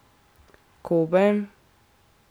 Kobe?